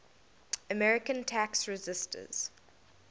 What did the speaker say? american tax resisters